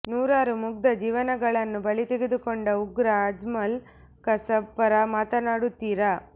ನೂರಾರು ಮುಗ್ದ ಜೀವಗಳನ್ನು ಬಲಿತೆಗೆದುಕೊಂಡ ಉಗ್ರ ಅಜ್ಮಲ್ ಕಸಬ್ ಪರ ಮಾತನಾಡುತ್ತೀರಾ